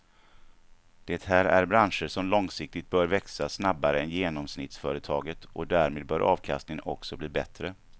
Det här är branscher som långsiktigt bör växa snabbare än genomsnittsföretaget och därmed bör avkastningen också bli bättre.